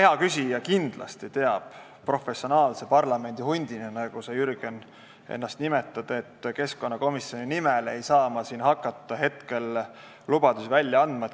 Hea küsija kindlasti teab professionaalse parlamendihundina, nagu sa, Jürgen, ennast nimetad, et keskkonnakomisjoni nimel ei saa ma siin hakata lubadusi välja andma.